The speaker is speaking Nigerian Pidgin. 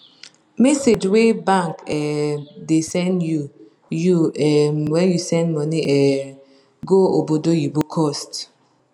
message wey bank um da send you you um when you send money um go obodoyibo cost